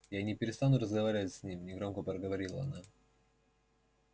я не перестану разговаривать с ним негромко проговорила она